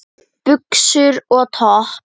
Buxum og topp?